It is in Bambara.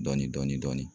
Dɔɔnin dɔɔnin